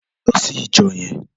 Lò si ijò yèn